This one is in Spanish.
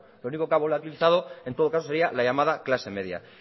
lo único que ha volatilizado en todo caso la llamada clase media